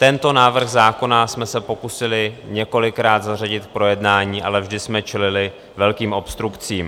Tento návrh zákona jsme se pokusili několikrát zařadit k projednání, ale vždy jsme čelili velkým obstrukcím.